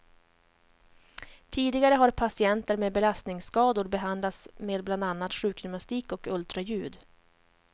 Tidigare har patienter med belastningsskador behandlats med bland annat sjukgymnastik och ultraljud.